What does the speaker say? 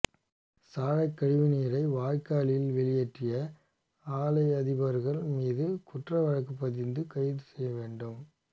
சாயக்கழிவு நீரை வாய்க்காலில் வெளியேற்றிய ஆலை அதிபர்கள் மீது குற்ற வழக்கு பதிந்து கைது செய்ய வேண்டும்